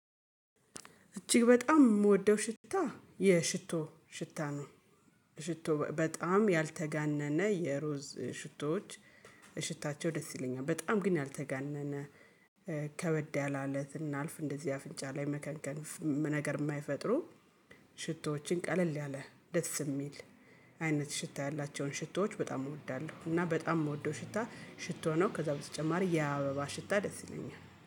እጅግ በጣም የምወደው ሽታ የሽቶ ሽታ ነው። ሽቶ በጣም ያልተጋነነ የሮዝ ሽቶዎች ሽታቸው ደስ ይለኛል በጣም ግን ያልተጋነነ ከበድ ያላለት እናልፍ እንደዚህ አፍንጫ ላይ መከንከን ነገር የማይፈጥሩ። ሽቶዎችን ቀለል ያለ ደስ የሚል አይነት ሽታ ያላቸውን ሽቶዎች በጣም እወዳለሁ እና በጣም የምወደው ሽታ ሽቶ ነው። ከዛ በተጨማሪ የአበባ ሽታ ደስ ይለኛል